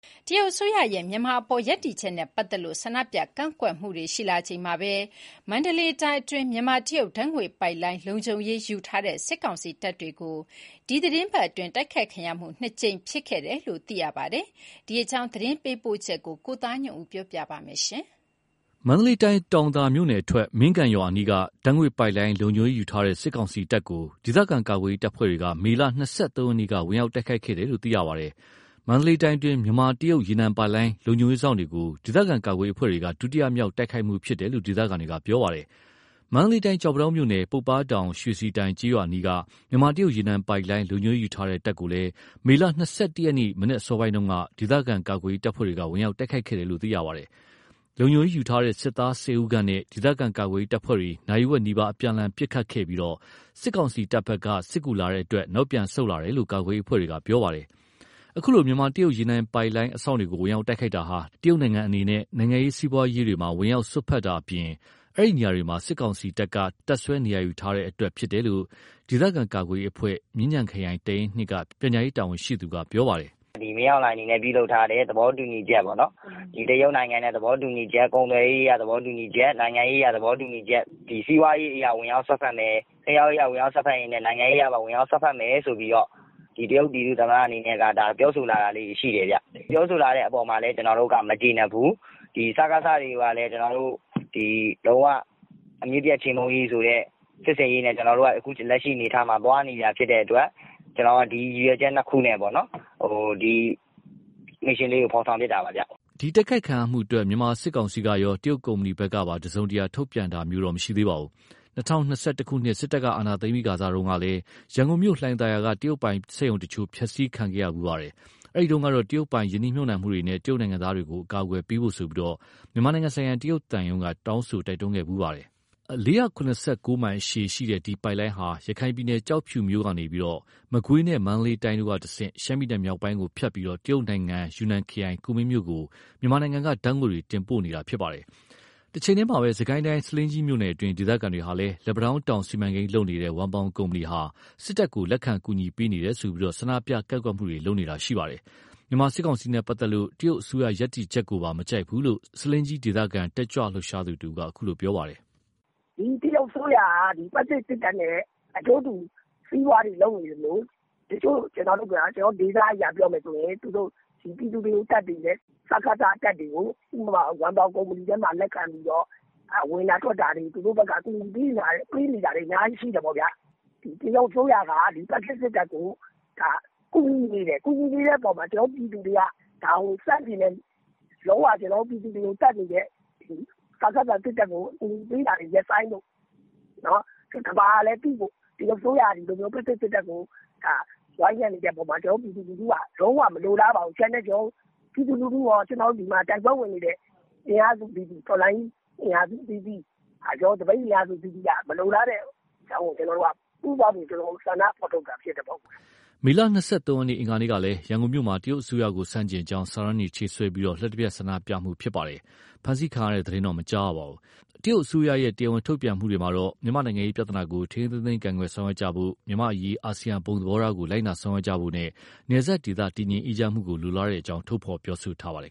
တရုတ်အစိုးရရဲ့ မြန်မာအပေါ် ရပ်တည်ချက်နဲ့ပတ်သက်လို့ ဆန္ဒပြကန့်ကွက်မှုတွေရှိလာချိန်မှာပဲ၊ မန္တလေးတိုင်းအတွင်း မြန်မာ-တရုတ် ဓါတ်ငွေ့ပိုက်လိုင်း လုံခြုံရေးယူထားတဲ့ စစ်ကောင်စီတပ်တွေ ဒီတပတ်အတွင်း နှစ်ကြိမ်တိုက်ခိုက်ခံခဲ့ရတယ်လို့ သိရပါတယ်။ ဒီအကြောင်း သတင်းပေးပို့ချက် ကိုသားညွန့်ဦး ပြောပြမှာပါ။ မန္တလေးတိုင်း၊ တောင်သာမြို့နယ်အထွက် မင်းကန်ရွာအနီးက ဓါတ်ငွေ့ပိုက်လိုင်း လုံခြုံရေးယူထားတဲ့ စစ်ကောင်စီတပ်ကို ဒေသခံကာကွယ်ရေး တပ်ဖွဲ့တွေက မေလ ၂၃ ရက်နေ့က ဝင်ရောက်တိုက်ခိုက်ခဲ့တယ်လို့ သိရပါတယ်။ မန္တလေးတိုင်းတွင်း မြန်မာ−တရုတ် ရေနံပိုက်လိုင်း လုံခြုံရေးစောင့်တွေကို ဒေသခံကာကွယ်ရေးအဖွဲ့တွေက ဒုတိယမြောက် တိုက်ခိုက်မှုဖြစ်တယ်လို့ ဒေသခံတွေက ပြောပါတယ်။ မန္တလေးတိုင်း ကျောက်ပန်းတောင်းမြို့နယ်၊ ပုပ္ပားတောင် ရွှေစီတိုင် ကျေးရွာအနီးက မြန်မာ-တရုတ်ရေနံပိုက်လိုင်း လုံခြုံရေးယူထားတဲ့တပ်ကို မေ ၂၁ ရက် မနက်အစောပိုင်းတုန်းကလည်း ဒေသခံကာကွယ်ရေး တပ်ဖွဲ့တွေက ဝင်ရောက်တိုက်ခိုက်ခဲ့တယ်လို့သိရပါတယ်။ လုံခြုံရေးယူထားတဲ့ စစ်သား ၁၀ ဦးခန့်နဲ့ ဒေသခံကာကွယ်ရေးတပ်ဖွဲ့တွေ နာရီဝက်နီးပါး အပြန်အလှန် ပစ်ခတ်ခဲ့ပြီး၊ စစ်ကောင်စီတပ်ဘက်က စစ်ကူလာရောက်တဲ့အတွက် နောက်ပြန်ဆုတ်လာတယ်လို့ ကာကွယ်ရေးအဖွဲ့တွေက ပြောပါတယ်။ အခုလို မြန်မာ-တရုတ် ရေနံပိုက်လိုင်းအစောင့်တွေကို ဝင်ရောက်တိုက်ခိုက်တာဟာ တရုတ်နိုင်ငံအနေနဲ့ နိုင်ငံရေး စီးပွားရေးတွေမှာ ဝင်ရာက်စွက်ဖက်တာတွေအပြင်၊ အဲဒီနေရာမှာ စစ်ကောင်စီတပ်က တပ်စွဲထားတဲ့အတွက်ဖြစ်တယ်လို့ ဒေသခံကာကွယ်ရေးအဖွဲ့ မြင်းခြံခရိုင် တပ်ရင်း က ပြန်ကြားရေး တာဝန်ရှိသူက ပြောပါတယ်။ “မင်းအောင်လှိုင်အနေနဲ့ ပြုလုပ်ထားတဲ့ သဘောတူညီချက်ကုန်သွယ်ရေးအရ၊ သဘောတူညီချက် နိုင်ငံရေးအရ၊ သဘောတူညီချက် စီးပွားရေးအရ ဝင်ရောက်စွက်ဖက်မယ်၊ နိုင်ငံရေးအရပါ ဝင်ရောက်စွက်ဖက်မယ်ဆိုပြီးတော့ တရုတ်ပြည်သူ့သမ္မတ အနေနဲ့ ဒါကို ပြောဆိုလာတာလေးတွေ ရှိတယ်။ ပြောဆိုလာတဲ့အပေါ်မှာလည်း ကျွန်တော်တို့က မကျေနပ်ဘူး။ ဒီ စကစ တွေကိုလည်း ကျွန်တော်တို့ လုံး၀ အမြစ်ပြတ် ချေမှုန်းရေးဆိုတဲ့ စစ်ဆင်ရေးနဲ့ ကျွန်တော်တို့က သွားနေတာဖြစ်တဲ့အတွက် ကျွန်တော်တို့ ဒီရည်ရွယ်ချက် ၂ ခုနဲ့ ဒီ Mission လေးကို ဖော်ဆောင် ဖြစ်တာပါခင်ဗျ။" ဒီတိုက်ခိုက်ခံရတဲ့ကိစ္စနဲ့ပတ်သက်ပြီး မြန်မာစစ်ကောင်စီကရော တရုတ်ကုမ္ပဏီဖက်ကပါ တစုံတရာထုတ်ပြန်တာမျိုးတော့ မရှိသေးပါဘူး။ ၂၀၂၁ ခုနှစ် စစ်တပ်ကအာဏာသိမ်းပြီးခါကစတုန်းကလည်း ရန်ကုန်မြို့ လှိုင်သာယာက တရုတ်ပိုင်စက်ရုံတချို့ ဖျက်ဆီးခံခဲ့ရဖူးပါတယ်။ အဲဒီတုန်းကတော့ တရုတ်ပိုင် ရင်းနှီးမြှုပ်နှံမှုတွေနဲ့ တရုတ်နိုင်ငံသားတွေကို အကာအကွယ်ပေးဖို့ မြန်မာနိုင်ငံဆိုင်ရာ တရုတ်သံရုံးက တောင်းဆိုတိုက်တွန်းခဲ့ဖူးပါတယ်။ ၄၇၉ မိုင်ရှည်လျားတဲ့ ဒီပိုက်လိုင်းဟာ ရခိုင်ပြည်နယ်၊ ကျောက်ဖြူမြို့ကနေ မကွေးနဲ့ မန္တလေးတိုင်းတို့ကတဆင့် ရှမ်းပြည်မြောက်ပိုင်းတို့ကိုဖြတ်ပြီး တရုတ်တိုင်ငံ၊ ယူနန်ခရိုင်၊ ကူမင်းမြို့ကို မြန်မာနိုင်ငံက ဓါတ်ငွေ့တွေ တင်ပို့တာ ဖြစ်ပါတယ်။ တချိန်တည်းမှာပဲ စစ်ကိုင်းတိုင်း၊ ဆားလင်းကြီးမြို့နယ်တွင်း ဒေသခံတွေဟာလည်း လက်ပံတောင်းတောင် စီမံကိန်းလုပ်နေတဲ့ ဝမ်ပေါင်ကုမ္ပဏီဟာ စစ်တပ်ကို လက်ခံကူညီပေးနေတယ်ဆိုပြီး၊ ဆန္ဒပြကန့်ကွက်တာတွေလည်း ရှိနေပါတယ်။ မြန်မာစစ်ကောင်စီနဲ့ပတ်သက်လို့ တရုတ်အစိုးရရပ်တည်ချက်ကိုပါ မကြိုက်ဘူးလို့ ဆားလင်းကြီးဒေသခံ တတ်ကြွလှုပ်ရှားသူတဦးက ပြောပါတယ်။ “ဒီတရုတ်အစိုးရက ဖက်ဆစ်စစ်တပ်နဲ့ အကျိုးတူ စီးပွားတွေလုပ်နေသလို ကျွန်တော်တို့ဒေသအရပြောမယ်ဆိုရင် ပြည်သူတွေကို သတ်နေတဲ့ စကစ တပ်တွေကို၊ ဥပမာ ဝမ်ပေါင်ကုမ္ပဏီထဲမှာ လက်ခံပြီးတော့ ဝင်တာထွက်တာတွေ သူတို့ဘက်က ကူညီပေးနေတာတွေ အများကြီးရှိတယ်ပေါ့။ တရုတ်အစိုးရက ဖက်ဆစ် စစ်တပ်ကို ကူညီနေတယ်။ ကူညီနေတဲ့အပေါ်မှာ ကျွန်တော်တို့ ပြည်သူတွေက ဒါကို ဆန့်ကျင်တယ်။ လုံး၀ ကျွန်တော်တို့ ပြည်သူတွေကို သတ်နေတဲ့ စကစ စစ်တပ်ကို ကူညီပေးတာတွေ ရပ်ဆိုင်းဖို့ ကမ္ဘာကလည်း သိဖို့ တရုတ်အစိုးရက ဖက်ဆစ်စစ်တပ်ကို ဝိုင်းရံနေတဲ့အပေါ်မှာ ကျွန်တော်တို့ ပြည်သူလူထုက လုံးဝမလိုလားပါဘူး။ ပြည်သူလူထုကော၊ ကျွန်တော်တို့ တိုက်ပွဲဝင်နေတဲ့ တော်လှန်ရေး အင်အားစုတွေကော သပိတ်အင်အားစုအသီးသီးက မလိုလားလို့ ပူးပေါင်းပြီး ဆန္ဒဖော်ထုတ်တာ ဖြစ်တယ်ပေါ့။” မေ ရက်၊ အင်္ဂါနေ့ကလည်း ရန်ကုန်မြို့မှာ တရုတ်အစိုးရကိုဆန့်ကျင်ကြောင်း စာတန်းတွေ ချိတ်ဆွဲပြီး လျှပ်တပြတ်ဆန္ဒပြတာဖြစ်ခဲ့ပါတယ်။ ဖမ်းဆီးခံရတဲ့သတင်းတော့ မကြားရပါဘူး။ တရုတ်အစိုးရဲ့ တရားဝင်ထုတ်ပြန်ချက်တွေမှာတော့ မြန်မာ့နိုင်ငံရေးပြဿနာကို ထိန်းထိန်းသိမ်းသိမ်းကိုင်တွယ်ဆောင်ရွက်ကြဖို့၊ မြန်မာ့အရေးအာဆီယံဘုံသဘောထားကို လိုက်နာဆောင်ရွက်ကြဖို့နဲ့ နယ်စပ်ဒေသ တည်ငြိမ်အေးချမ်းမှုကို လိုလားတဲ့အကြောင်းပြောဆိုထားပါတယ